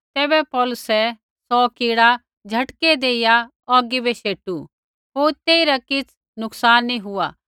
तैबै पौलुसै सौ कीड़ा झटकै देइया औगी बै शेटू होर तेइरा किछ़ नुकसान नी हुआ